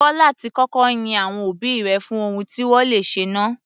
Kọ́ láti kọ́kọ́ yin àwọn òbí rẹ fún ohun tí wọ́n le ṣe náà.